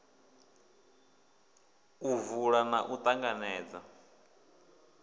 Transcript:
u vula na u ṱanganedza